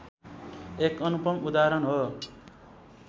एक अनुपम उदाहरण हो